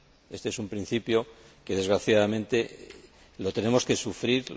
Éste es un principio que, desgraciadamente, tenemos que sufrir.